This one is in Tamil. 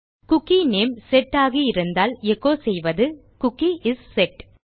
குக்கி நேம் செட் ஆகியிருந்தால் எச்சோ செய்வது குக்கி இஸ் செட்